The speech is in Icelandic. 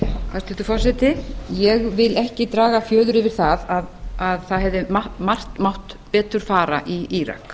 hæstvirtur forseti ég vil ekki draga fjöður yfir það að margt hefði mátt betur fara í írak